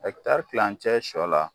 kilancɛ sɔ la